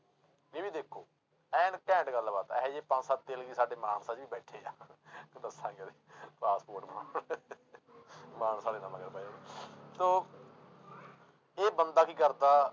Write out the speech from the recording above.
ਇਹ ਵੀ ਦੇਖੋ ਐਨ ਘੈਂਟ ਗੱਲਬਾਤ ਆ, ਇਹ ਜਿਹੇ ਪੰਜ ਸੱਤ ਤੇਲਗੀ ਸਾਡੇ ਮਾਨਸਾ 'ਚ ਵੀ ਬੈਠੇ ਆ ਤੇ ਦੱਸਾਂ ਪਾਸਪੋਰਟ ਬਣਾਉ~ ਮਾਨਸਾ ਵਾਲੇ ਨਾ ਮਗਰ ਪੈ ਜਾਣ ਤੋ ਇਹ ਬੰਦਾ ਕੀ ਕਰਦਾ